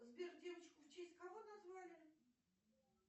сбер девочку в честь кого назвали